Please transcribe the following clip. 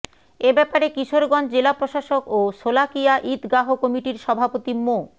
এ ব্যাপারে কিশোরগঞ্জ জেলা প্রশাসক ও শোলাকিয়া ঈদগাহ কমিটির সভাপতি মো